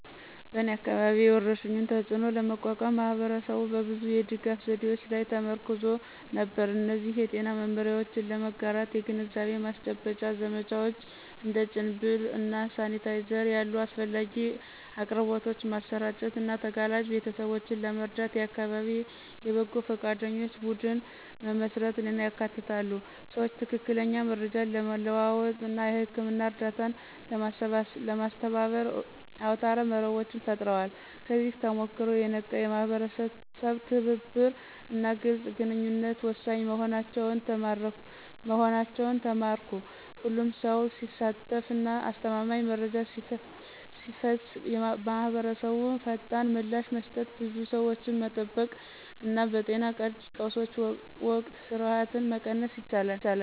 በእኔ አካባቢ፣ የወረርሽኙን ተፅእኖ ለመቋቋም ማህበረሰቡ በብዙ የድጋፍ ዘዴዎች ላይ ተመርኩዞ ነበር። እነዚህ የጤና መመሪያዎችን ለመጋራት የግንዛቤ ማስጨበጫ ዘመቻዎች፣ እንደ ጭንብል እና ሳኒታይዘር ያሉ አስፈላጊ አቅርቦቶችን ማሰራጨት እና ተጋላጭ ቤተሰቦችን ለመርዳት የአካባቢ የበጎ ፈቃደኞች ቡድን መመስረትን ያካትታሉ። ሰዎች ትክክለኛ መረጃን ለመለዋወጥ እና የህክምና እርዳታን ለማስተባበር አውታረ መረቦችን ፈጥረዋል። ከዚህ ተሞክሮ፣ የነቃ የማህበረሰብ ትብብር እና ግልጽ ግንኙነት ወሳኝ መሆናቸውን ተማርኩ። ሁሉም ሰው ሲሳተፍ እና አስተማማኝ መረጃ ሲፈስ ማህበረሰቡ ፈጣን ምላሽ መስጠት፣ ብዙ ሰዎችን መጠበቅ እና በጤና ቀውሶች ወቅት ፍርሃትን መቀነስ ይችላል።